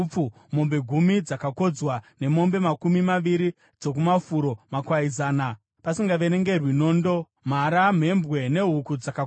mombe gumi dzakakodzwa, nemombe makumi maviri dzokumafuro, makwai zana, pasingaverengerwi nondo, mhara, mhembwe nehuku dzakakodzwa.